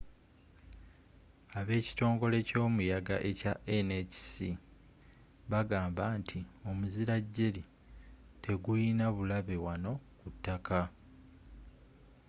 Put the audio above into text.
ab’ekitongole kyomuyaga ekya nhc bagamba nti omuzila jerry tegulina bulabe wano ku taka